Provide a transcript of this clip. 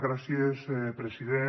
gràcies president